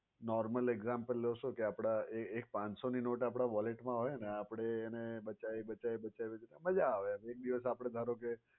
normal example લવ તો કે આપણા એક પાંચસો ની નોટ આપણા wallet મા હોય ને આપણે એને બચાવી બચાવી બચાવી ને મજા આવે એક દિવસ આપણે ધારો કે